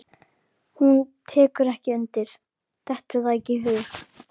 Hún tekur ekki undir, dettur það ekki í hug.